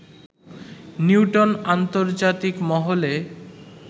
Newton আন্তর্জাতিক মহলে